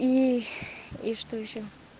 и и что ещё